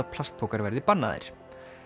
plastpokar verði bannaðir